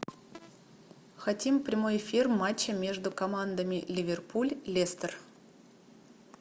хотим прямой эфир матча между командами ливерпуль лестер